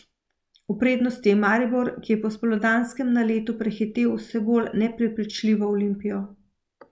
V prednosti je Maribor, ki je po spomladanskem naletu prehitel vse bolj neprepričljivo Olimpijo.